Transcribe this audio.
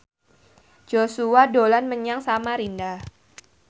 Joshua dolan menyang Samarinda